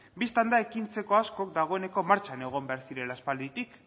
bistan da ekintzetako asko dagoeneko martxan egon behar zirela aspalditik